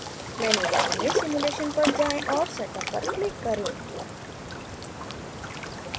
menu bar में simulation पर जाएँ और setup पर क्लिक करें